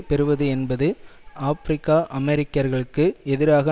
பெறுவது என்பது ஆபிரிக்கஅமெரிக்கர்களுக்கு எதிராக